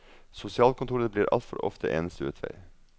Sosialkontoret blir altfor ofte eneste utvei.